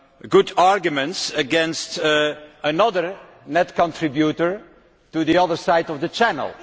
good arguments against another net contributor from the other side of the Channel.